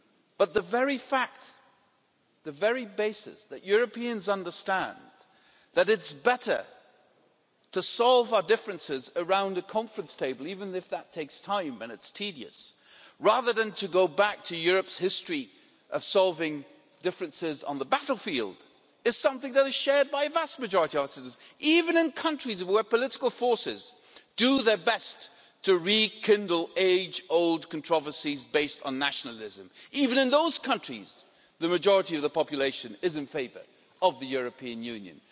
But the very fact, the very basis, that Europeans understand that it is better to solve our differences around a conference table, even if that takes time and it is tedious, rather than to go back to Europe's history of solving differences on the battlefield, is something that is shared by a vast majority of our citizens even in countries where political forces do their best to rekindle age old controversies based on nationalism, even in those countries the majority of the population is in favour of the European Union.